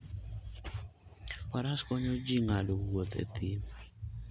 Faras konyo ji ng'ado wuoth e thim.